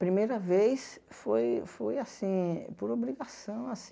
Primeira vez foi foi assim por obrigação assim.